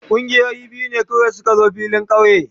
Kungiyoyi biyu ne kawai su ka zo filin kauye.